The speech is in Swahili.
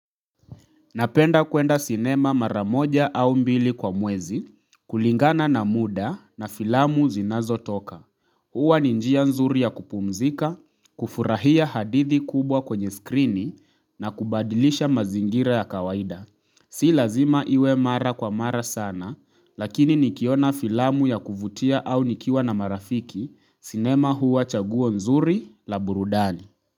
Napenda kwenda sinema maramoja au mbili kwa mwezi, kulingana na muda na filamu zinazotoka. Huwa ni njia nzuri ya kupumzika, kufurahia hadithi kubwa kwenye skrini na kubadilisha mazingira ya kawaida. Si lazima iwe mara kwa mara sana, lakini nikiona filamu ya kuvutia au nikiwa na marafiki sinema huwa chaguwa nzuri la burudani.